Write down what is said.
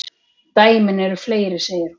Dæmin eru fleiri, segir hún.